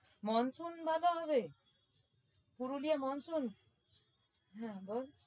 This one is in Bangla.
moonsoon ভালো হবে পুরুলিয়ায় monsoon হ্যাঁ বল